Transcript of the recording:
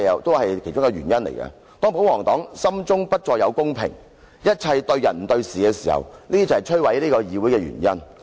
當保皇黨心中不再有公平，一切對人不對事時，這正是摧毀議會的原因。